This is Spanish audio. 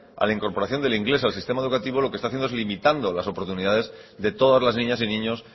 a la incorporación del inglés al sistema educativo lo que está haciendo es limitando las oportunidades de todas las niñas y niños